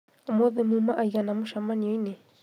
ũmũthĩ muma aigana mũcemanio-inĩ